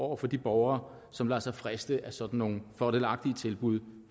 over for de borgere som lader sig friste af sådan nogle fordelagtige tilbud